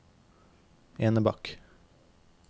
Enebakk